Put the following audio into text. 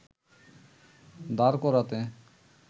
দাঁড় করাতে